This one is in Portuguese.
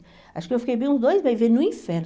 Acho que eu fiquei bem uns dois meses vivendo no inferno.